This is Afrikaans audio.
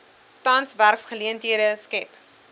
tans werksgeleenthede skep